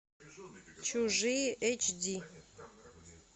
чужие эч ди